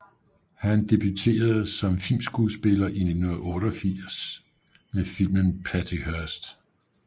Han debuterede som filmskuespiller i 1988 med filmen Patty Hearst